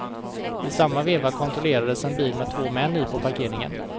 I samma veva kontrollerades en bil med två män i på parkeringen.